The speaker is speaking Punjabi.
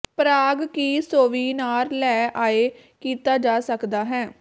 ਪ੍ਰਾਗ ਕੀ ਸੋਵੀਨਾਰ ਲੈ ਆਏ ਕੀਤਾ ਜਾ ਸਕਦਾ ਹੈ